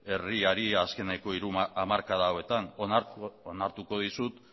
herriari azkeneko hiru hamarkada hauetan onartuko dizut